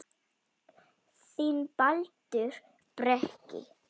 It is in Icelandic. Þinn, Baldur Breki.